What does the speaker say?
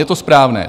Je to správné.